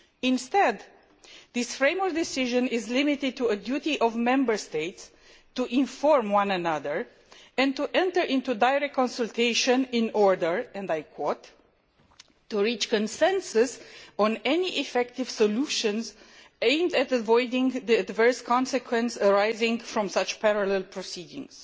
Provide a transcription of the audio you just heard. Instead, this Framework Decision is limited to a duty of Member States to inform one another and to enter into direct consultation in order to reach consensus on any effective solution aimed at avoiding the adverse consequences arriving from parallel proceedings'.